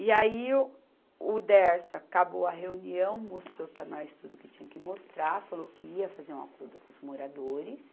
E aí o Dersa acabou a reunião, mostrou para nós tudo o que tinha que mostrar, falou que ia fazer um acordo com os moradores,